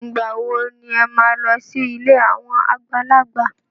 Ìgbà wo ni ẹ máa lọ sí ilé àwọn àgbàlagbà?